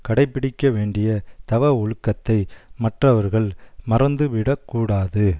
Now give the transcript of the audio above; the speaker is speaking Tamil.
கடைப்பிடிக்க வேண்டிய தவ ஒழுக்கத்தை மற்றவர்கள் மறந்து விடக் கூடாது